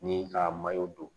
Ni ka don